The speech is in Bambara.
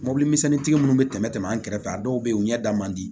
Mobilimisɛnni tigi minnu bɛ tɛmɛ tɛmɛ an kɛrɛfɛ a dɔw bɛ yen u ɲɛ da man di